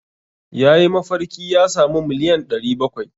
Ya yi mafarki ya sami miliyan 700.